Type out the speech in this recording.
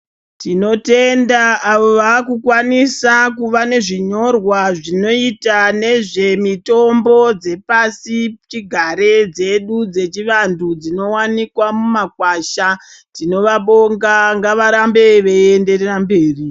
Tinotenda avo vakukwanisa kuva nezvinyorwa zvinoita nezvemitombo dzepasichigare dzedu dzechivantu dzinowanikwa mumakwasha. Tinovabonga ngavarambe veienderera mberi.